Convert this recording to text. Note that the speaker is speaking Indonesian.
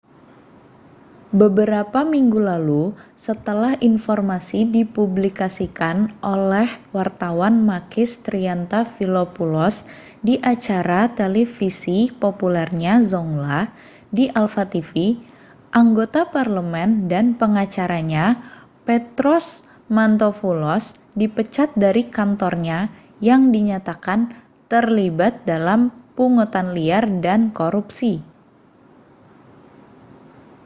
beberapa minggu lalu setelah informasi dipublikasikan oleh wartawan makis triantafylopoulos di acara televisi populernya zoungla di alpha tv anggota parlemen dan pengacaranya petros mantouvalos dipecat dari kantornya dan dinyatakan terlibat dalam pungutan liar dan korupsi